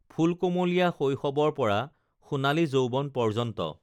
ফুলকুমলীয়া শৈশ‌ৱৰ পৰা সোণালী যৌ‌ৱন পৰ্যন্ত